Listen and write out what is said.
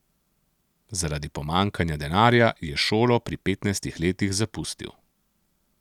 Zaradi pomanjkanja denarja je šolo pri petnajstih letih zapustil.